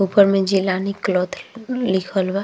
ऊपर में जिलानी क्लॉथ लिखल बा।